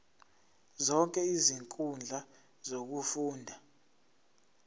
zonke izinkundla zokufunda